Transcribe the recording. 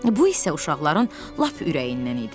Bu isə uşaqların lap ürəyindən idi.